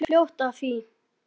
Hún komst fljótt að því.